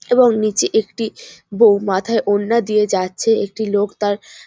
এবং নীচে একটি বউ মাথায় ওড়না দিয়ে যাচ্ছে। একটি লোক তার --